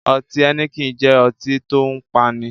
Ọtí Heineken jẹ́ ọtí tòun paani.